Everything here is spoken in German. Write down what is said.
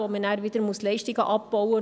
Man muss dann wieder Leistungen abbauen.